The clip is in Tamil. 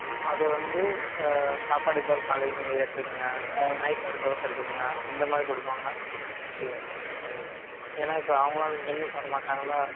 அத வந்து ஆஹ் சாப்பாட்டுக்கு பதிலா காலையில நீங்க இத எடுத்துக்கொங்க night ரெண்டு dose எடுத்துக்கொங்க அந்தமாதிரி குடுப்பாங்க ஏன்னா இப்ப அவங்க எல்லாம் வந்து gym க்கு வரமாட்டாங்கல